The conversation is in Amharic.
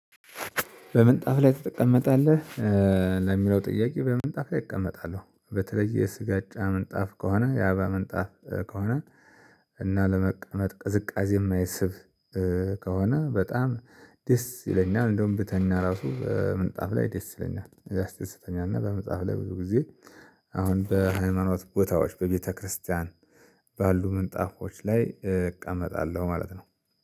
በምንጣፍ ላይ ትቀመጣለህ? ለሚለው ጥያቄ በምንጣፍ ላይ እቀመጣለሁ በተለየ የስጋጃ ምንጣፍ ከሆነ የአበባ ምንጣፍ ከሆነ እና ለመቀመጥ ቅዝቃዜ የማይስብ ከሆነ በጣም ደስ ይለኛል። እንደውም ብተኛ ራሱ ምንጣፍ ላይ ደስ ይለኛል ያስደስተኛል። እና በምንጣፍ ላይ ብዙ ጊዜ አሁን በሃይማኖት ቦታዎች በቤተክርስቲያን ባሉ ምንጣፎች ላይ እቀመጣለሁ ማለት ነው